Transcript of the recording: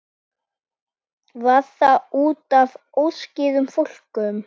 Var það útaf óskýrum fókus?